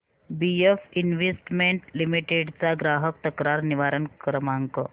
BF investment limited चा ग्राहक तक्रार निवारण क्रमांक